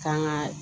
Kan ga